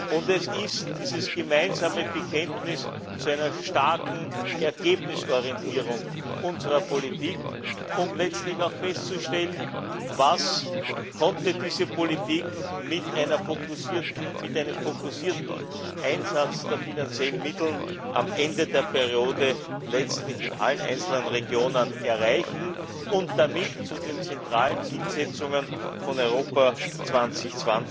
Und es ist dieses gemeinsame Bekenntnis zu einer starken Ergebnisorientierung unserer Politik, um letztlich auch festzustellen, was diese Politik mit einem fokussierten Einsatz der finanziellen Mittel am Ende der Periode letztlich in allen einzelnen Regionen erreichen und damit zu den zentralen Zielsetzungen von Europa 2020